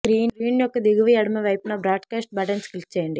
screen యొక్క దిగువ ఎడమ వైపున బ్రాడ్కాస్ట్ బటన్పై క్లిక్ చేయండి